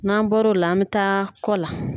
N'an bɔr'o la an bɛ taa kɔ la.